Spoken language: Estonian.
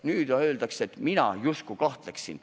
Nüüd öeldakse, et mina justkui kahtleksin.